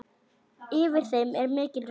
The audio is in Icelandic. Yfir þeim er mikil ró.